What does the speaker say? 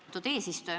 Lugupeetud eesistuja!